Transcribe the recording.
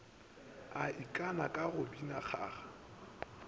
ikana ka go bina kgaga